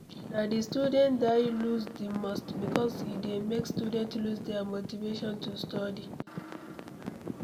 Na di student dy loose di most because e dey make student loose their motivation to study